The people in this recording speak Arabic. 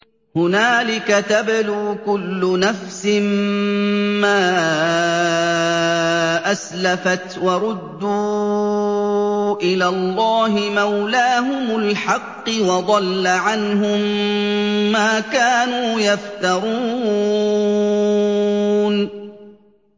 هُنَالِكَ تَبْلُو كُلُّ نَفْسٍ مَّا أَسْلَفَتْ ۚ وَرُدُّوا إِلَى اللَّهِ مَوْلَاهُمُ الْحَقِّ ۖ وَضَلَّ عَنْهُم مَّا كَانُوا يَفْتَرُونَ